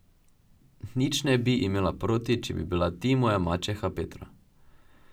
Nič ne bi imela proti, če bi bila ti moja mačeha, Petra.